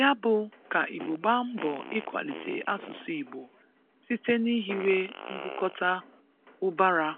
Ya bụ, ka Igbo gbaa mbọ ịkwalite asụsụ Igbo site n'ihiwe mbukọta ụbara